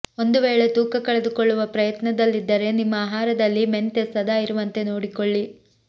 ಒಂದು ವೇಳೆ ತೂಕ ಕಳೆದುಕೊಳ್ಳುವ ಪ್ರಯತ್ನದಲ್ಲಿದ್ದರೆ ನಿಮ್ಮ ಆಹಾರದಲ್ಲಿ ಮೆಂತೆ ಸದಾ ಇರುವಂತೆ ನೋಡಿಕೊಳ್ಳಿ